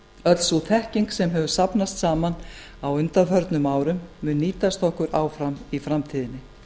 öll sú þekking sem hefur safnast saman á undanförnum árum mun nýtast okkur áfram í framtíðinni